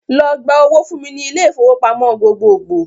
Lọ gba owó fún mi ní ilé-ifowópamọ gbogbogbò!